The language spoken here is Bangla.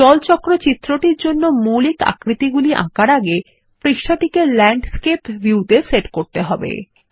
জল চক্র চিত্রটির জন্য মৌলিক আকৃতিগুলি আঁকার আগে পৃষ্ঠাটিকে ল্যান্ডস্কেপ ভিউ এ সেট করতে হবে